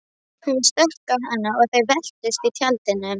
Hún stökk á hann og þau veltust um í tjaldinu.